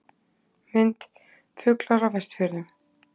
Mynd: Fuglar á Vestfjörðum